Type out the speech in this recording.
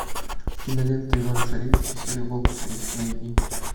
кинолента иван царевич и серый волк три найди